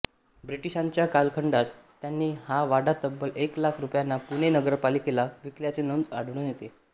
ब्रिटिशांच्या कालखंडात त्यांनी हा वाडा तब्बल एक लाख रुपयांना पुणे नगरपालिकेला विकल्याची नोंद आढळून येते